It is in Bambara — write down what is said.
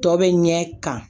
Tɔ bɛ ɲɛ kan